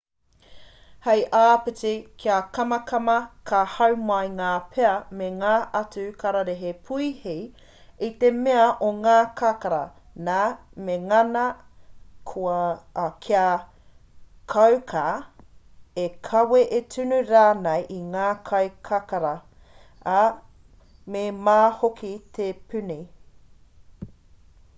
hei āpiti kia kamakama ka hau mai ngā pea me ngā atu kararehe puihi i te mea o ngā kakara nā me ngana kia kauka e kawe e tunu rānei i ngā kai kakara ā me mā hoki te puni